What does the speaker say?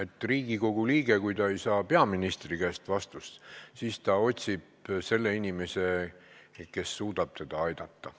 Kui Riigikogu liige ei saa peaministri käest vastust, siis ta otsib inimese, kes suudab teda aidata.